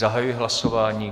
Zahajuji hlasování.